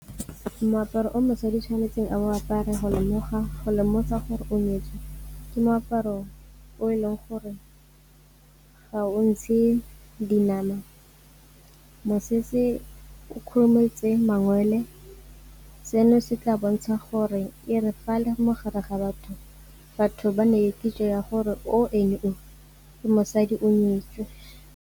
Moaparo o motsadi a tshwanetseng a bo a apare go lemosa gore o nyetswe ke moaparo o e leng gore ga o ntshe dinama, mosese o khurumetse mangwele, seno se tla bontsha gore e re fa a le mogare ga batho, batho ba nne le kitso ya gore o ene o ke mosadi o nyetswe.